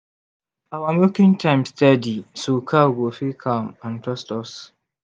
our milking time steady so cow go feel calm and trust us.